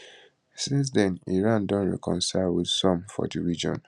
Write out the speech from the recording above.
since den iran don reconcile wit some for di region